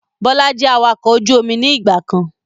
Bọlá jẹ́ awakọ̀ ojú omi ni ìgbàkan